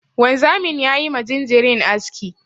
Wanzamin ya yi ma jinjirin aski.